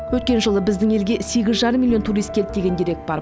өткен жылы біздің елге сегіз жарым миллион турист келді деген дерек бар